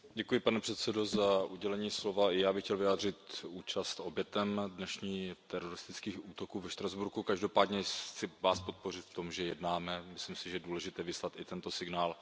Pane předsedající, i já bych chtěl vyjádřit účast obětem dnešních teroristických útoků ve Štrasburku. Každopádně vás chci podpořit v tom, že jednáme, myslím si, že je důležité vyslat i tento signál.